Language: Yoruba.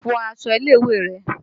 Fọ aṣọ ilé ìwé rẹ̀!